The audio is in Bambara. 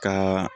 Ka